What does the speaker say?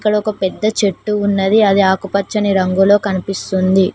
ఇక్కడ ఒక పెద్ద చెట్టు ఉన్నది అది ఆకుపచ్చని రంగులో కనిపిస్తుంది.